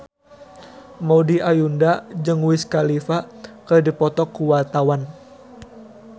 Maudy Ayunda jeung Wiz Khalifa keur dipoto ku wartawan